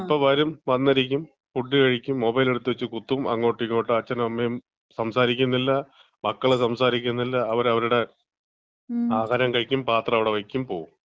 ഇപ്പം വരും, വന്നിരിക്കും, ഫുഡ് കഴിക്കും, മൊബൈൽ എടുത്ത് വച്ച് കുത്തും അങ്ങോട്ടും ഇങ്ങോട്ടും അച്ഛനും അമ്മയും സംസാരിക്കുന്നില്ല. മക്കള് സംസാരിക്കുന്നില്ല. അവര് അവരുടെ ആഹാരം കഴിക്കും, പാത്രം അവിടെ വെക്കും പോകും.